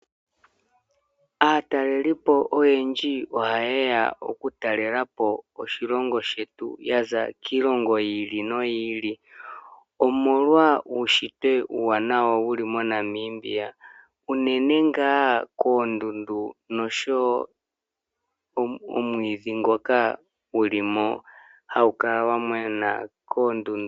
Aatalelipo oyendji ohaye ya okutalela po oshilongo shetu yaza kiilongo yi ili noyi ili omolwa uuwanawa wuushitwe wuli moNamibia unene nga koondundu noshowo omwiidhi ngoka guli mo hagu kala gwa mena koondundu.